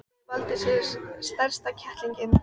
Jói valdi sér strax stærsta kettlinginn.